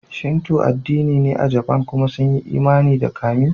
Shinto addini ne a Jafan kuma sun yi imani da kami.